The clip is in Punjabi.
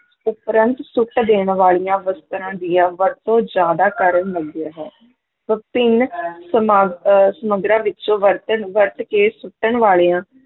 ਉਪਰੰਤ ਸੁੱਟ ਦੇਣ ਵਾਲੀਆਂ ਵਸਤਾਂ ਦੀਆਂ ਵਰਤੋਂ ਜ਼ਿਆਦਾ ਕਰਨ ਲੱਗਿਆ ਹੈ ਵਿਭਿੰਨ ਸਮਾਗ~ ਅਹ ਸਮਗਰਾਂ ਵਿੱਚੋਂ ਵਰਤਣ ਵਰਤ ਕੇ ਸੁੱਟਣ ਵਾਲਿਆਂ